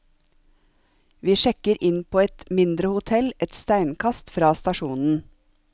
Vi sjekker inn på et mindre hotell et steinkast fra stasjonen.